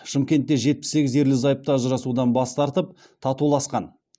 шымкентте жетпіс сегіз ерлі зайыпты ажырасудан бас тартып татуласқан